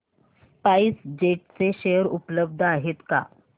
spice jet चे share उपलब्ध आहेत का